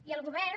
i al govern